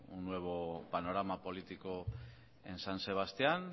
un nuevo panorama político en san sebastián